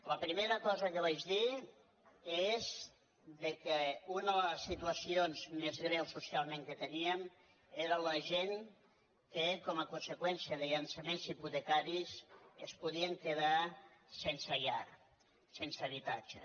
la primera cosa que vaig dir és que una de les situacions més greus socialment que teníem era la gent que com a conseqüència de llançaments hipotecaris es podien quedar sense llar sense habitatge